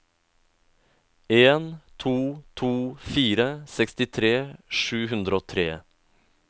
en to to fire sekstitre sju hundre og tre